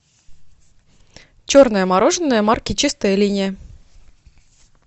черное мороженое марки чистая линия